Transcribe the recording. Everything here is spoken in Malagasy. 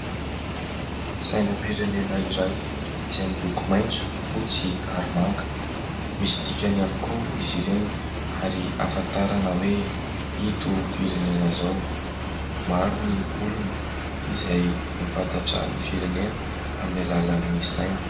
Sainam-pirenena iray izay miloko maitso, fotsy ary manga. Misy dikany avokoa izy ireny ary ahafantarana hoe ito firenena izao. Maro ny olona izay mahafantatra ny firenena amin'ny alalan'ny saina.